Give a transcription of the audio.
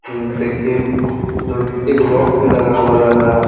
अम्म देखिये एक लॉक भी लगा हुआ लग रहा है।